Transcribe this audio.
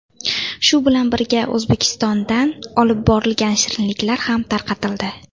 Shu bilan birga, O‘zbekistondan olib borilgan shirinliklar ham tarqatildi.